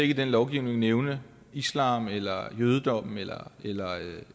i den lovgivning nævne islam eller jødedommen eller